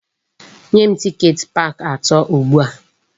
Nye m tiket park ato ugbu a!